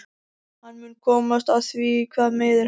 Hann mun komast að því hvað meiðir hann.